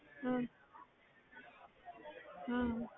ਹਮ ਹਮ